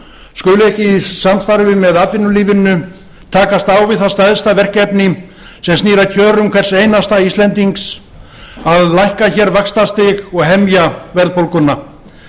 skuli ekki í samstarfi með atvinnulífinu takast á við það stærsta verkefni sem snýr að kjörum hvers einasta íslendings að lækka hér vaxtastig og hemja verðbólguna